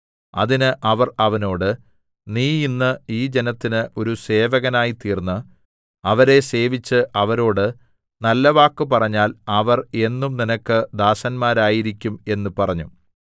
അതിന് അവർ അവനോട് നീ ഇന്ന് ഈ ജനത്തിന് ഒരു സേവകനായിത്തീർന്ന് അവരെ സേവിച്ച് അവരോട് നല്ലവാക്ക് പറഞ്ഞാൽ അവർ എന്നും നിനക്ക് ദാസന്മാരായിരിക്കും എന്ന് പറഞ്ഞു